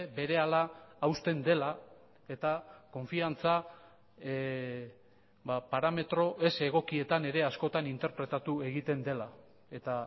berehala hausten dela eta konfiantza parametro ez egokietan ere askotan interpretatu egiten dela eta